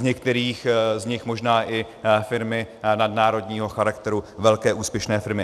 Z některých z nich možná i firmy nadnárodního charakteru, velké úspěšné firmy.